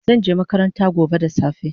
Zanje makaranta gobe da safe